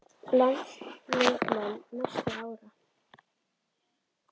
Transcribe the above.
Landsliðsmenn næstu ára?